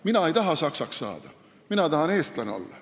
Mina ei taha saksaks saada, mina tahan eestlane olla.